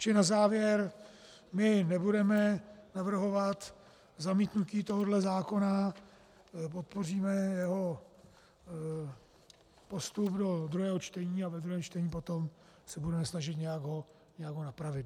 Čili na závěr, my nebudeme navrhovat zamítnutí tohoto zákona, podpoříme jeho postup do druhého čtení a ve druhém čtení potom se budeme snažit nějak ho napravit.